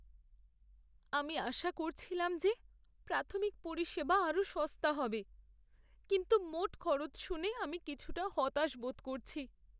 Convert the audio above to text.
আমি আশা করছিলাম যে প্রাথমিক পরিষেবা আরও সস্তা হবে, কিন্তু মোট খরচ শুনে আমি কিছুটা হতাশ বোধ করছি।